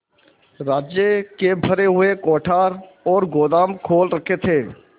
राज्य के भरे हुए कोठार और गोदाम खोल रखे थे